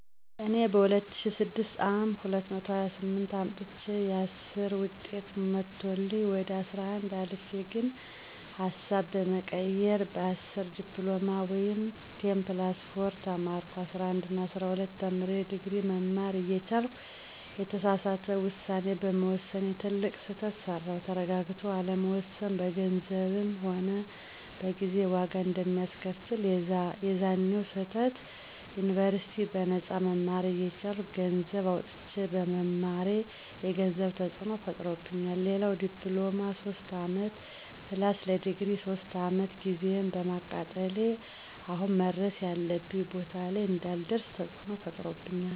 እኔ በ2006 አ /ም 228 አምጥቸየ 10ዉጤት መቶልኝ ወደ 11 አልፌ ግን ሀሳብ በመቀየር በ10 ዲፕሎማ ወይም10+4 ተማርኩ። 11እና 12ተምሬ ድግሪ መማር እየቻልኩ የተሳሳተ ዉሳኔ በመወሰኔ ትልቅ ስህተት ሰራዉ። ተረጋግቶ አለመወሰን በገንዘብም ሆነ በጊዜ ዋጋ አንደሚያስከፍል፦ የዛኔዉ ስህተት ዩኒበርሲቲ በነጳ መማር እየቻልኩ ገነሰዘብ አዉጥቸ በመማሬ የገንዘብ ተፅዕኖ ፈጥሮብኛል፣ ሌላዉ ለዲፕሎማ 3 አመት+ለድግሪ 3 አመት ጊዜየን በማቃጠሌ አሁን መድረስ ያለብኝ ቦታ ላይ እንዳልደርሰ ተፅዕኖ ፈጥሮብኛል